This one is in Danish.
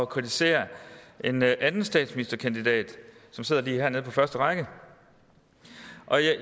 kritisere en anden statsministerkandidat som sidder lige her nede på første række